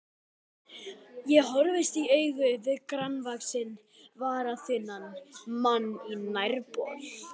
Ég horfist í augu við grannvaxinn, varaþunnan mann á nærbol.